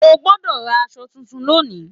O gbọdọ rà aṣọ títún lónì!